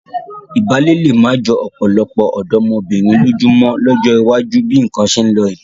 Ìbálé lé má jọ ọ̀pọ̀lọpọ̀ ọ̀dọ́mọbìnrin lójú mọ́ lọ́jọ́ iwájú bí nǹkan ṣe ń lọ yìí.